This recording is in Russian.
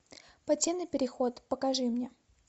подземный переход покажи мне